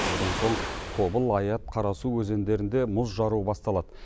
одан соң тобыл аят қарасу өзендерінде мұз жару басталады